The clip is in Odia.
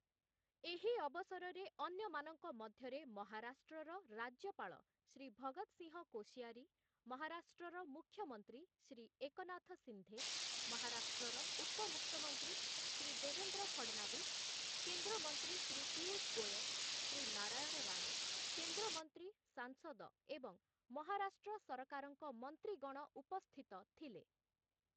ଏହି ଅବସରରେ ଅନ୍ୟମାନଙ୍କ ମଧ୍ୟରେ ମହାରାଷ୍ଟ୍ରର ରାଜ୍ୟପାଳ ଶ୍ରୀ ଭଗତ ସିଂହ କୋସିୟାରୀ, ମହାରାଷ୍ଟ୍ରର ମୁଖ୍ୟମନ୍ତ୍ରୀ ଶ୍ରୀ ଏକନାଥ ସିନ୍ଧେ, ମହାରାଷ୍ଟ୍ରର ଉପମୁଖ୍ୟମନ୍ତ୍ରୀ ଶ୍ରୀ ଦେବେନ୍ଦ୍ର ଫଡନାଭିସ୍, କେନ୍ଦ୍ର ମନ୍ତ୍ରୀ ଶ୍ରୀ ପୀୟୁଷ ଗୋୟଲ, ଶ୍ରୀ ନାରାୟଣ ରାଣେ, କେନ୍ଦ୍ର ମନ୍ତ୍ରୀ, ସାଂସଦ ଏବଂ ମହାରାଷ୍ଟ୍ର ସରକାରଙ୍କ ମନ୍ତ୍ରୀଗଣ ଉପସ୍ଥିତ ଥିଲେ ।